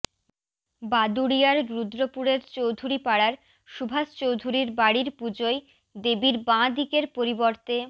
বাদুড়িয়ার রুদ্রপুরের চৌধুরী পাড়ার সুভাষ চৌধুরীর বাড়ির পুজোয় দেবীর বাঁ দিকের পরিবর্তে